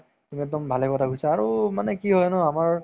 তুমি একদম ভালে কথা কৈছা আৰু মানে কি হয় ন আমাৰ